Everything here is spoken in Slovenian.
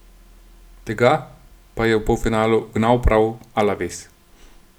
Tega pa je v polfinalu ugnal prav Alaves.